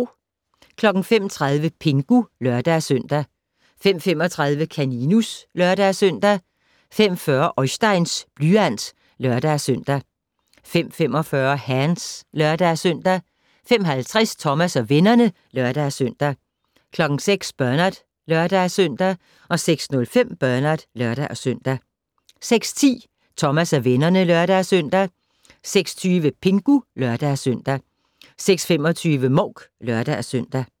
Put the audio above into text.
05:30: Pingu (lør-søn) 05:35: Kaninus (lør-søn) 05:40: Oisteins blyant (lør-søn) 05:45: Hands (lør-søn) 05:50: Thomas og vennerne (lør-søn) 06:00: Bernard (lør-søn) 06:05: Bernard (lør-søn) 06:10: Thomas og vennerne (lør-søn) 06:20: Pingu (lør-søn) 06:25: Mouk (lør-søn)